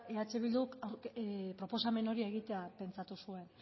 eh bilduk proposamen hori egitea pentsatu zuen